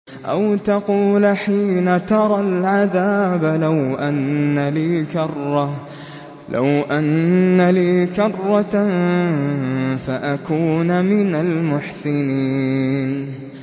أَوْ تَقُولَ حِينَ تَرَى الْعَذَابَ لَوْ أَنَّ لِي كَرَّةً فَأَكُونَ مِنَ الْمُحْسِنِينَ